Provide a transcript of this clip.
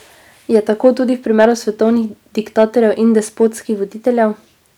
Je tako tudi v primeru svetovnih diktatorjev in despotskih voditeljev?